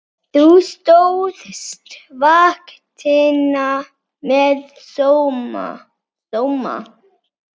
Þú stóðst vaktina með sóma.